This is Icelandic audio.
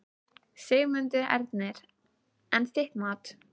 Dóri er á við her manns, stundi amma mæðulega.